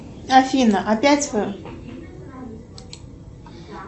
афина опять вы